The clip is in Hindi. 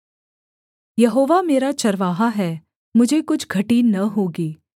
यहोवा मेरा चरवाहा है मुझे कुछ घटी न होगी